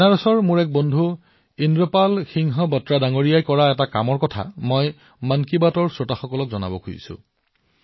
বাৰণসীৰ মোৰ এজন সতীৰ্থ ইন্দ্ৰপাল সিং বাট্ৰাই এনে এক কাম কৰিছে যাৰ বিষয়ে মই মন কী বাতৰ দৰ্শকক কব লাগিব